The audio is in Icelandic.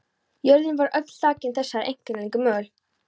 Jörðin var öll þakin þessari einkennilegu möl.